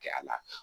Kɛ a la